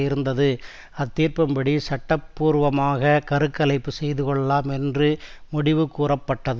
இருந்தது அத்தீர்ப்பின்படி சட்டபூர்வமாக கரு கலைப்பு செய்து கொள்ளலாம் என்று முடிவு கூறப்பட்டது